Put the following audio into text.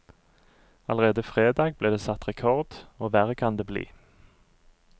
Allerede fredag ble det satt rekord, og verre kan det bli.